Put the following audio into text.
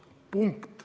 Punkt.